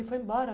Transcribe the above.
Ele foi embora?